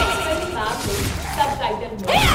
film ਮੈਮ ਲਈ subtitle ਹੋਣਗੇ